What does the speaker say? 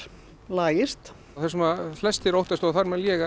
lagist það sem flestir óttast og þar á meðal ég